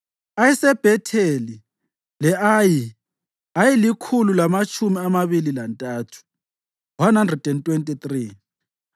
ayeseBhetheli le-Ayi ayelikhulu lamatshumi amabili lantathu (123),